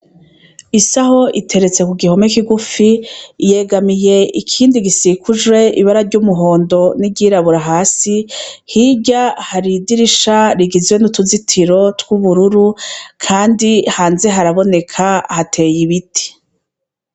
Isaho iteretse kugihome kigufi yegamiye ikindi gisikujwe ibara ry’umuhondo n’iryirabura hasi hirya hari idirisha rigizwe nutuzitiro twubururu kandi hanze haraboneka hateye ibiti.